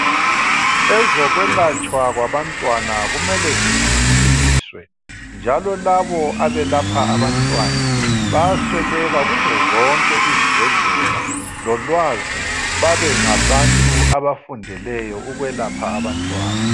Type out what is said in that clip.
Ezokwelatshwa kwabantwana kumele zithuthukiswe njalo labo abelapha abantwana bayasweleka kuzo zonke izibhedlela lolwazi babengabantu abafundeleyo ukwelapha abantwana.